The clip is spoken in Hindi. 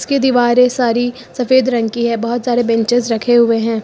ये दीवारें सारी सफेद रंग की है बहुत सारे बेंचेज रखे हुए हैं।